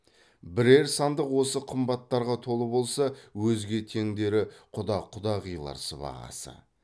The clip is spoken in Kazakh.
бірер сандық осы қымбаттарға толы болса өзге теңдері құда құдағилар сыбағасы